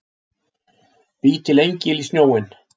Bý til engil í snjóinn.